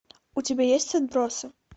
у тебя есть отбросы